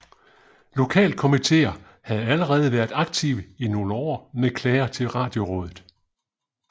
Lokalkomitéer havde allerede været aktive i nogle år med klager til Radiorådet